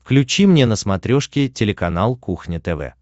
включи мне на смотрешке телеканал кухня тв